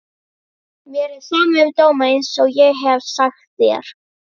Mér er sama um dóma einsog ég hef sagt þér.